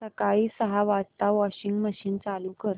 सकाळी सहा वाजता वॉशिंग मशीन चालू कर